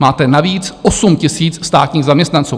Máte navíc 8 000 státních zaměstnanců.